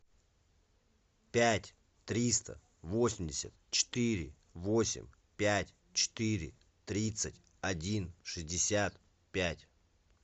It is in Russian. пять триста восемьдесят четыре восемь пять четыре тридцать один шестьдесят пять